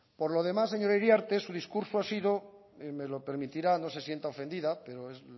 por lo demás señora iriarte su discurso ha sido me lo permitirá no se sienta ofendida pero es